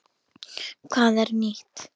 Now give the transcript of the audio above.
Hvað er nýtt?